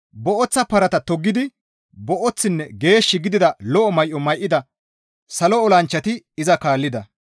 Booththa parata toggidi booththinne geesh gidida lo7o may7o may7ida salo olanchchati iza kaallida.